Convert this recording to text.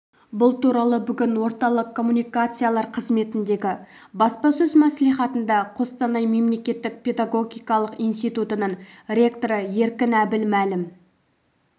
бұл туралы бүгін орталық коммуникациялар қызметіндегі баспасөз мәслихатында қостанай мемлекеттік педагогикалық институтының ректоры еркін әбіл мәлім